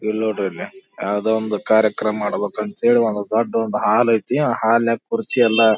ಇಲ್ಲಿ ನೊಡ್ರಿಲ್ಲಿ ಯಾವುದೊ ಒಂದು ಕಾರ್ಯಕ್ರಮ ಮಾಡ್ಬೇಕಂತ ಹೇಳಿ ಒಂದ್ ದೊಡ್ದು ಹಾಲ್ ಐತೆ ಆ ಹಾಲ್ನಾಗ ಕುರ್ಚಿ ಎಲ್ಲ--